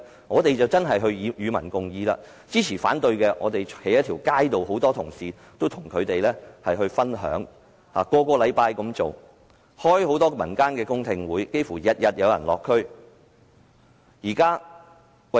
我們真的是與民共議，每周站在街上與支持或反對的市民分享，並舉行很多民間的公聽會，差不多每天均有人落區。